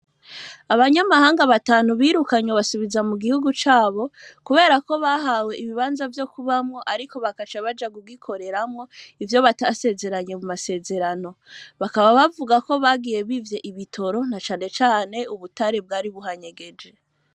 Abanyamahanga batanu, birukanywe, basubiza mu gihugu cabo, kubera ko, bahawe ibibanza, vyo kubamwo, ariko, bakaca baja kugikoreramwo; ivyo batasezeranye, mu masezerano; bakaba bavuga ko, bagiye bivye ibitoro, na cane cane, ubutare, bwari buhanyegeje.